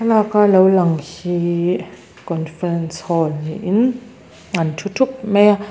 thlalak a lo lang hihh conference hall niin an thu thup mai a.